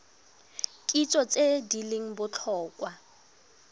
kitso tse di leng botlhokwa